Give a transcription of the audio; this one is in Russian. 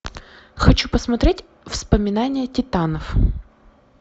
хочу посмотреть воспоминания титанов